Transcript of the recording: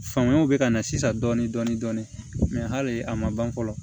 Famuyaw bɛ ka na sisan dɔɔnin dɔɔnin mɛ hali a ma ban fɔlɔ